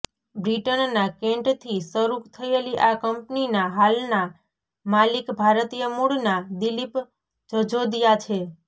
બ્રિટનના કેન્ટથી શરૂ થયેલી આ કંપનીના હાલના માલિક ભારતીય મૂળના દિલિપ જજોદિયા છે